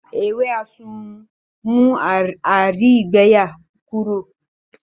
Ewé àsùnwòn ń mú àìrígbẹyà Kúrò